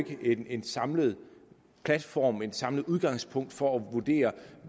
ikke en samlet platform et samlet udgangspunkt for at vurdere